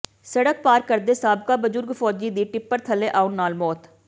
ਸੜਕ ਪਾਰ ਕਰਦੇ ਸਾਬਕਾ ਬਜ਼ੁਰਗ ਫ਼ੌਜੀ ਦੀ ਟਿੱਪਰ ਥੱਲੇ ਆਉਣ ਨਾਲ ਮੌਤ